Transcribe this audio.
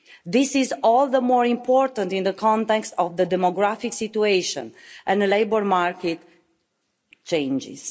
This is all the more important in the context of the demographic situation and labour market changes.